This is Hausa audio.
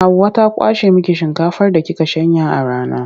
Hauwa ta kwashe miki shinkafar da kika shanya a rana.